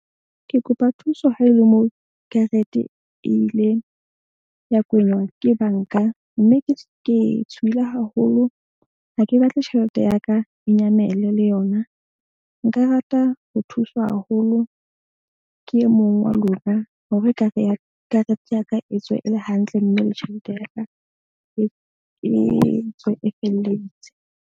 Ke kopa thuso ha e le mo karete e ile ya kenywa ke bank-a. Mme ke tshohile haholo ha ke batle tjhelete ya ka e nyamele le yona. Nka rata ho thuswa haholo ke e mong wa lona, hore ekare ya karete ya ka e tswe e le hantle. Mme le tjhelete ya ka e tswe e felletse.